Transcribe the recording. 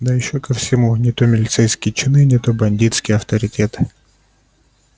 да ещё ко всему не то милицейские чины не то бандитские авторитеты